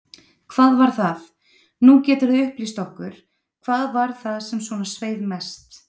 Hvað var það, nú geturðu upplýst okkur, hvað var það sem svona sveið mest?